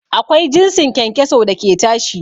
Akwai jinsin kyankyaso da ke tashi